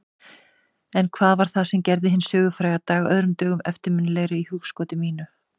Þetta er þó enn nokkuð á huldu og er verið að rannsaka það nánar.